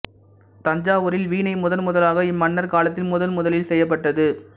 தஞ்சாவூரில் வீணை முதன்முதலாக இம்மன்னர் காலத்தில் முதன் முதலில் செய்யப்பட்டது